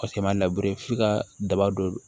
Ka se manbere f'i ka daba don